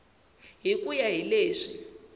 hi ku ya hi leswi